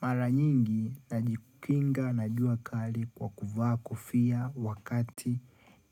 Mara nyingi najikinga na jua kali kwa kuvaa kofia wakati